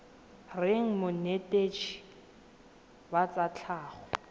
reng monetetshi wa tsa tlhago